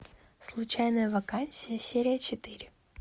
случайная вакансия серия четыре